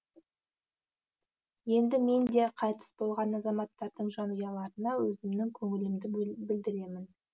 енді мен де қайтыс болған азаматтардың жанұяларына өзімнің көңілімді білдіремін